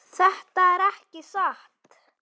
Þetta er ekki satt!